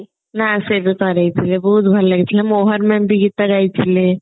ନା ସେ କରେଇଥିଲେ ବହତ ଭଲ ଲାଗୁଥିଲା ମୋହନ ma'am ବି ଗୀତ ଗାଇଥିଲେ